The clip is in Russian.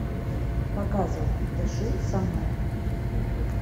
показывай дыши со мной